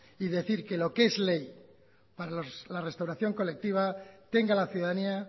y decir que lo que es ley para la restauración colectiva tenga la ciudadanía